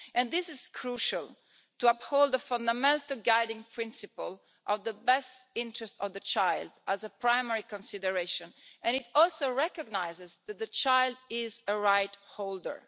And this is crucial to uphold the fundamental guiding principle of the best interest of the child as a primary consideration and it also recognises that the child is a right holder.